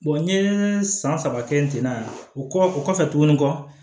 n ye san saba kɛ ten na o kɔ o kɔfɛ tuguni kɔ